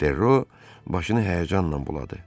Ferro başını həyəcanla buladı.